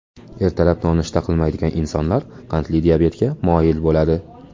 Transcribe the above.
Ertalab nonushta qilmaydigan insonlar qandli diabetga moyil bo‘ladi”.